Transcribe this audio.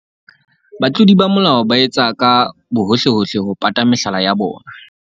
Batlodi ba molao ba etsa ka bohohlehohle ho pata mehlala ya bona.